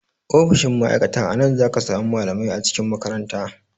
Ofishin ma'aikata a nan zaka samu malamai a cikin makaranta